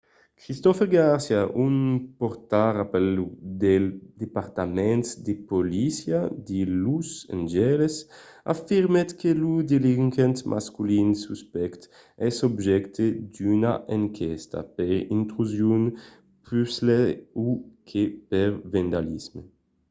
christopher garcia un pòrtaparaula del departament de polícia de los angeles afirmèt que lo delinquent masculin suspècte es objècte d'una enquèsta per intrusion puslèu que per vandalisme